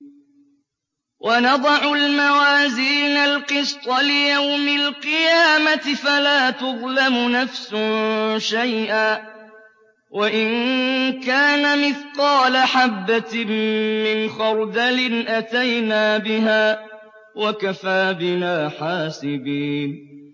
وَنَضَعُ الْمَوَازِينَ الْقِسْطَ لِيَوْمِ الْقِيَامَةِ فَلَا تُظْلَمُ نَفْسٌ شَيْئًا ۖ وَإِن كَانَ مِثْقَالَ حَبَّةٍ مِّنْ خَرْدَلٍ أَتَيْنَا بِهَا ۗ وَكَفَىٰ بِنَا حَاسِبِينَ